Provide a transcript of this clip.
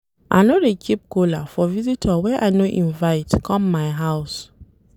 I no dey keep kola for visitor wey I no invite come my house.